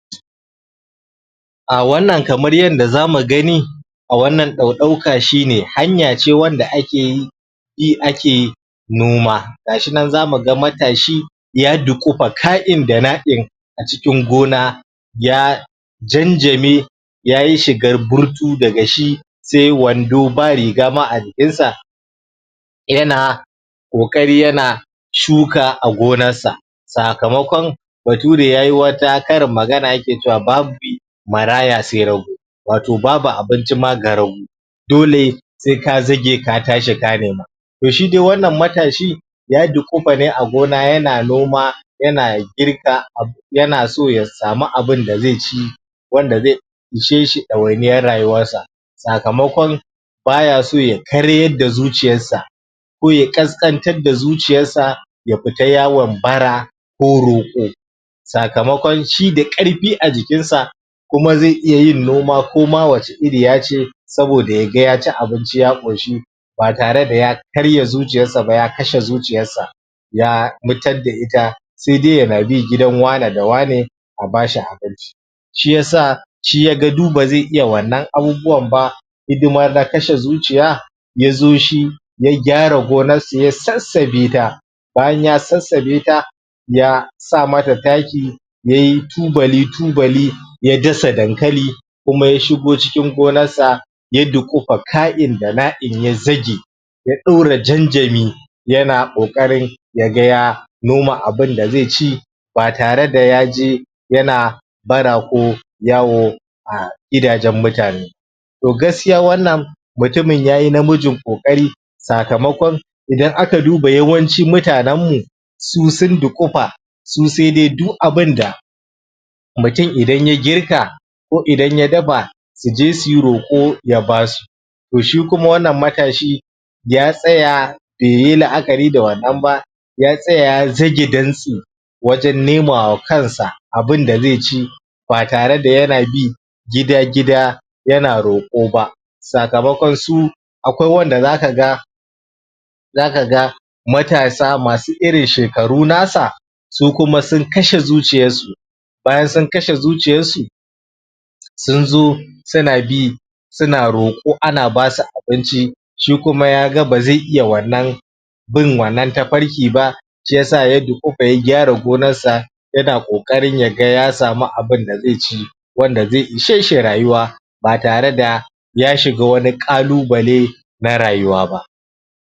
Ahh wannan kamar yanda zamu gani a wannan ɗauka shi ne, hanya ce wanda akeyi yi ake noma gashi nan zamu ga matashi ya duƙufa ka'in da na'in a cikin gona ya janjame yayi shigar burtu daga shi sai wando ba riga ma a jikinsa yana ƙoƙari yana shuka a gonar sa sakamakon bature yayi wata karin magana yake cewa "babu maraya sai rago" wato babu abinci ma ga rago dole sai ka zage ka tashi ka nema toh shi dai wannan matashi ya duƙufa ne a gona yana noma yana girka abu yana so ya samu abinda zai ci wanda zai ishe shi ɗawainiyar rayuwarsa sakamakon baya so ya karyar da zuciyarsa ko ya ƙasƙantar da zuciyarsa ya fita yawon bara ko roƙo sakamakon shi da ƙarfi a jikinsa kuma zai iya yin noma koma wace iriya ce saboda yaga yaci abinci ya ƙoshi ba tare da karya zuciyarsa ba ya kashe zuciyarsa ya mutar da ita sai dai yana bi gidan wane da wane a bashi abinci shiyasa shi yaga duk bazai iya wannan abubuwan ba hidima da kashe zuciya yazo shi ya gyara gonar su ya sassabe ta bayan ya sassabe ta ya sa mata taki yayi tubali-tubali ya dasa dankali kuma ya shigo cikin gonar sa ya duƙufa ka'in da na'in ya zage ya ɗora janjami yana ƙoƙarin yaga ya noma abinda zai ci ba tare da yaje yana bara ko yawo a gidajen mutane toh gaskiya wannan mutumin yayi namijn ƙoƙari sakamakon idan aka duba yawanci mutanen mu su sun dunƙufa su sai dai du abinda mutum idan ya girka ko idan ya dafa su je suyi roƙo ya basu toh shi kuma wannan matashi ya tsaya baiyi la'akari da wannan ba ya tsaya ya zage dantse wajen nema wa kansa abunda zai ci ba tare da yana bi gida-gida yana roƙo ba sakamakon su akwai wanda zaka ga zaka ga matasa masu irin shekaru nasa su kuma sun kashe zuciyarsu bayan sun kashe zuciyarsu sun zo suna bi suna roƙo ana basu abinci shi kuma yaga ba zai iya wannan bin wannan tafarki ba shiyasa ya duƙufa ya gyara gonar sa yana ƙoƙarin yaga ya samu abinda zai ci wanda zai ishe shi rayuwa ba tare da ya shiga wani ƙalubale na rayuwa ba